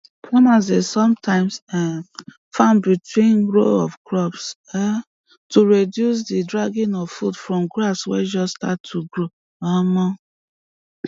farmers dey some times um farm between row of crop um to reduce the dragging of food from grass way just start to grow um